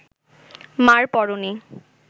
মা’র পরনে